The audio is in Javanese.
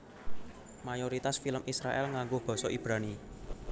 Mayoritas film Israèl nganggo basa Ibrani